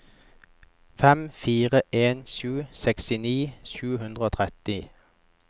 fem fire en sju sekstini sju hundre og tretti